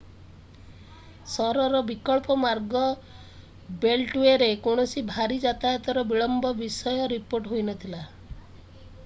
ସହରର ବିକଳ୍ପ ମାର୍ଗ ବେଲ୍ଟୱେରେ କୌଣସି ଭାରି ଯାତାୟାତର ବିଳମ୍ବ ବିଷୟ ରିପୋର୍ଟ ହୋଇନଥିଲା